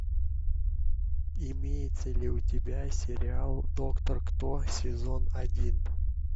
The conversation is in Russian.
имеется ли у тебя сериал доктор кто сезон один